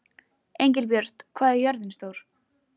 Engilbjört, hvað er jörðin stór?